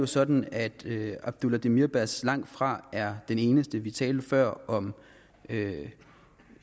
sådan at abdullah demirbaş langtfra er den eneste vi talte før om